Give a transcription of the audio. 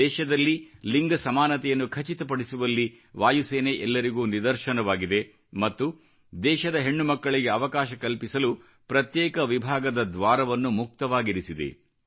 ದೇಶದಲ್ಲಿ ಲಿಂಗ ಸಮಾನತೆಯನ್ನು ಖಚಿತಪಡಿಸುವಲ್ಲಿ ವಾಯು ಸೇನೆ ಎಲ್ಲರಿಗೂ ನಿದರ್ಶನವಾಗಿದೆ ಮತ್ತು ದೇಶದ ಹೆಣ್ಣು ಮಕ್ಕಳಿಗೆ ಅವಕಾಶ ಕಲ್ಪಿಸಲು ಪ್ರತ್ಯೇಕ ವಿಭಾಗದ ದ್ವಾರವನ್ನು ಮುಕ್ತವಾಗಿರಿಸಿದೆ